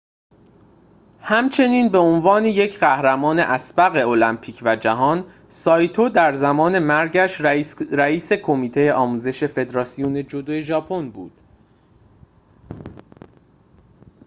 همچنین به عنوان یک قهرمان اسبق المپیک و جهان سایتو در زمان مرگش رئیس کمیته آموزش فدراسیون جودو ژاپن بود